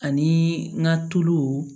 Ani n ka tulu